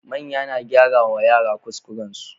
Manya na gyara wa yara kuskuran su